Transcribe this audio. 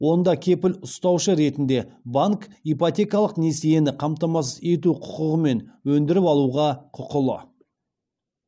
онда кепіл ұстаушы ретінде банк ипотекалық несиені қамтамасыз ету құқығымен өндіріп алуға құқылы